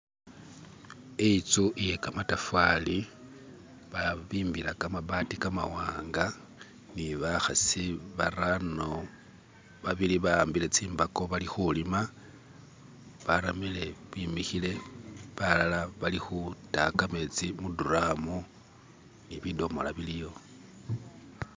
inzu iye kamatafali babimbila kamabati kamawanga nibakhasi barano, babili bawambile tsimbako bali khulima, baramile bimikhile, balala bari khutaya kametsi mu dramu ni bidomola biliyo